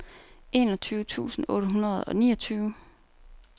enogtyve tusind otte hundrede og niogtyve